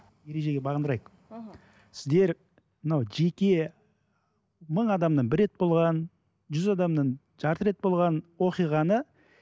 ережеге бағындырайық іхі сіздер мынау жеке мың адамнан бір рет болған жүз адамнан жарты рет болған оқиғаны